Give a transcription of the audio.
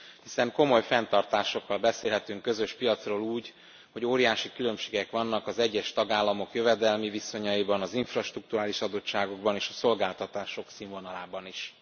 Hiszen komoly fenntartásokkal beszélhetünk közös piacról úgy, hogy óriási különbségek vannak az egyes tagállamok jövedelmi viszonyaiban, az infrastrukturális adottságokban és a szolgáltatások színvonalában is.